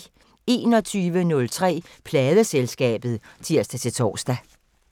21:03: Pladeselskabet (tir-tor)